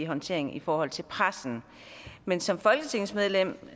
håndtering i forhold til pressen men som folketingsmedlem